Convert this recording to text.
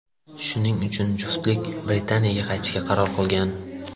Shuning uchun juftlik Britaniyaga qaytishga qaror qilgan.